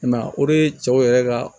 I m'a ye o de ye cɛw yɛrɛ ka